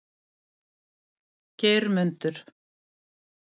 Geirmundur